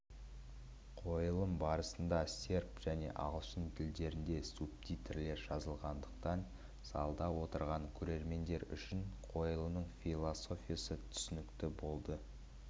қойылым барысында серб және ағылшын тілдерінде субтитрлер жазылғандықтан залда отырған көрермендер үшін қойылымның философиясы түсінікті болды